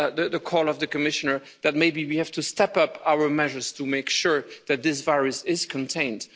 reinforce the call of the Commissioner that maybe we have to step up our measures to make sure that this virus is